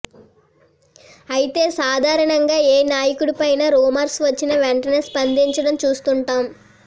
అయితే సాధారణంగా ఏ నాయకుడిపైన రూమర్స్ వచ్చిన వెంటనే స్పందించడం చూస్తుంటాం